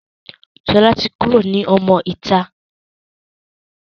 Sọlá tí kúrò ní ọmọ ìta.